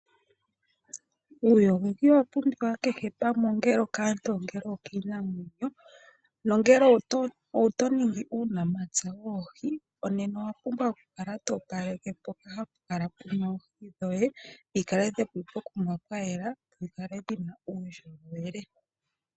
Uuyogoki owa pumbiwa kehe pamwe ongele okaantu ongele okiinamwenyo nongele oto ningi uunamapya woohi nena owa pumbwa oku kala to opaleke mpoka hapu kala puna oohi dhoye dhi kale dhili pokuma pwayela dhikale dhina uundjolowele.